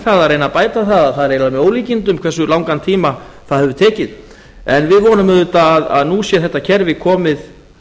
reyna að bæta það að það er eiginlega með ólíkindum hversu langan tíma það hefur tekið en við vonum auðvitað að nú sé þetta kerfi komið